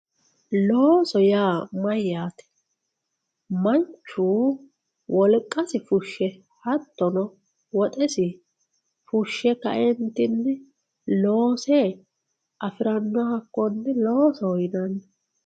looso yaa mayaate manchu wolqasi fushshe hattono woxesi fushshe ka"entinni loose afiranoha hakkonne loosoho yinanni.